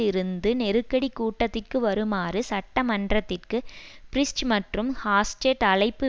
இருந்து நெருக்கடி கூட்டத்திற்கு வருமாறு சட்ட மன்றத்திற்கு பிரிஸ்ட் மற்றும் ஹாஸ்டெர்ட் அழைப்பு